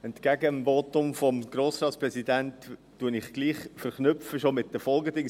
Entgegen des Votums des Grossratspräsidenten verknüpfe ich schon mit den Folgeanträgen.